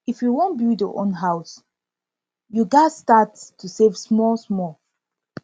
if you wan build your own house you gats start to save smallsmal